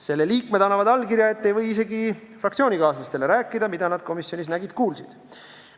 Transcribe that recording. Selle liikmed annavad allkirja, et ei või isegi fraktsioonikaaslastele rääkida, mida nad komisjonis nägid-kuulsid.